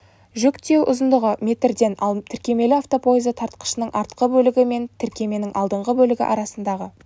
жүк тиеу ұзындығы метрден ал тіркемелі автопоезы тартқышының артқы бөлігі мен тіркеменің алдыңғы бөлігі арасындағы